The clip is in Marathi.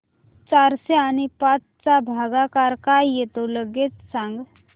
चारशे आणि पाच चा भागाकार काय येतो लगेच सांग